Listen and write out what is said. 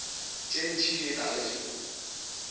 tše ntši tše tala di